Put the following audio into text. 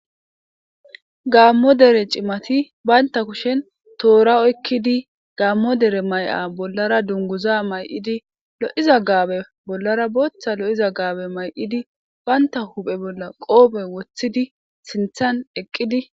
Gamo dere cimati banta kushen toora oykidi Gamo dete Maya bollara dunguza mayidi lo'iza Gabe bollara bootha lo'iza Gabe mayidi banta huphe bolla qoope wothidi sinthan eqidi beetosona.